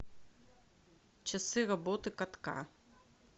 часы работы катка